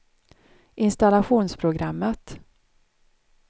installationsprogrammet